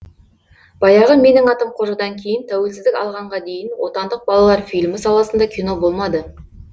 баяғы менің атым қожадан кейін тәуелсіздік алғанға дейін отандық балалар фильмі саласында кино болмады